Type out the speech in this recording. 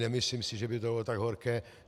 Nemyslím si, že by to bylo tak horké.